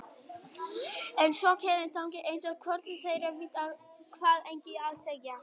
En svo kemur þögn eins og hvorugt þeirra viti hvað eigi að segja.